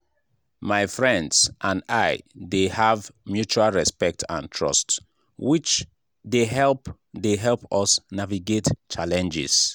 my friends and i dey have mutual respect and trust which dey help dey help us navigate challenges.